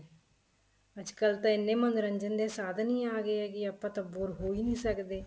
ਅੱਜਕਲ ਤਾਂ ਐਨੇ ਮੰਨੋਰੰਜਨ ਸਾਧਨ ਹੀ ਆ ਗਏ ਹੈਗੇ ਆ ਆਪਾਂ ਤਾਂ bore ਹੋ ਹੀ ਨਹੀਂ ਸਕਦੇ